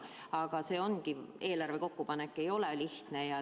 Aga jah, ega eelarve kokkupanek ei ole lihtne.